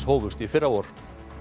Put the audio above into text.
hófust í fyrravor